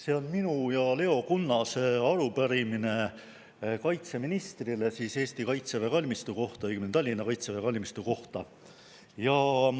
See on minu ja Leo Kunnase arupärimine kaitseministrile siis Eesti kaitseväe kalmistu kohta, õigemini Tallinna kaitseväe kalmistu kohta.